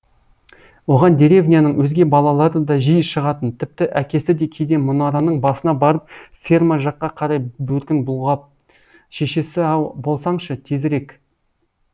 оған деревняның өзге балалары да жиі шығатын тіпті әкесі де кейде мұнараның басына барып ферма жаққа қарай бөркін бұлғап шешесі ау болсаңшы тезірек